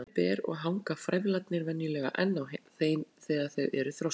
Ber hún stærri ber og hanga frævlarnir venjulega enn á þeim þegar þau eru þroskuð.